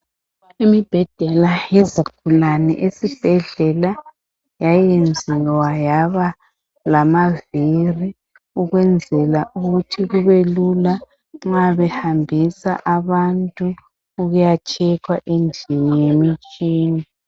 Imibheda yezigulani ezibhedlela yayenziwa yafakwa amavili ukuthi kubelula nxa behambisa abantu ukuya tshekwa endlini yemitshini.